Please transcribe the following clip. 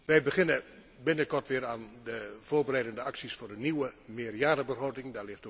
Wij beginnen binnenkort weer aan de voorbereidende acties voor een nieuwe meerjarenbegroting.